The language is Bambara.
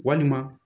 Walima